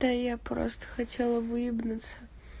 да я просто хотела выебнуться